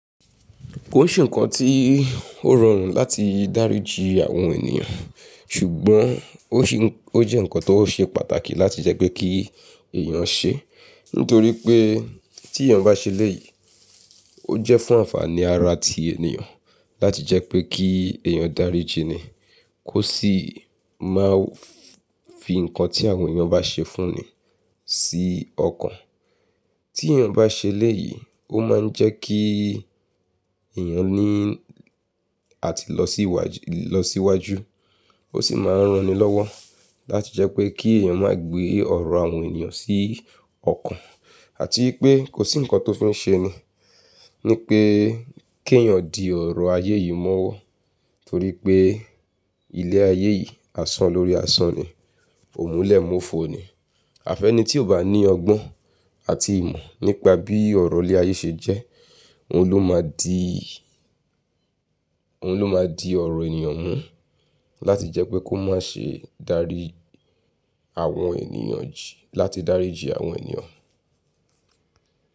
Kò se ǹkan tí ó rọrùn láti dáríji àwọn ènìyàn, ṣùgbọ́n ó ṣé, ó jẹ́ ǹkan tó ṣe pàtàkì láti jẹ́ pé kí èèyàn ṣe. Nítorí pé tí èèyàn bá ṣe lẹ́ẹ̀yìí, ó jẹ́ fún ànfàní ara tí ènìyàn láti jẹ́ pé kí èèyàn dáríji ni, kó sì má fi ǹkan tí àwọn èèyàn bá ṣe fún ni sí ọkàn. Tí èèyàn bá ṣe ẹ́lẹ̀yìí, ó máa ń jẹ́ kí èèyàn ní àti lọ sí wáàjú, lọ síwájú. Ó sì máa ń rán ni lọ́wọ́ láti jẹ́ pé kí èèyàn má gbé ọ̀rọ̀ àwọn ènìyàn sí ọkàn àti wipé kò sí ǹkan tó fi n ṣe ni. Ni pé kí èèyàn di ọ̀rọ̀ ayé yìí mọ́wọ́ torí pé ilẹ̀ ayé yìí, àsan lórí àsan ni, òmúlẹ̀múfo ni. Àfẹ́ni tí ò bá ní ọgbọ́n àti ìmọ̀ nípa bí ọ̀rọ̀ ilẹ̀ ayé ṣe jẹ́, òun ló máa di, òun ló máa di ọ̀rọ̀ ènìyàn mú láti jẹ́ pé kó má ṣe dárí àwọn ènìyàn jí, láti dáríji àwọn ènìyàn.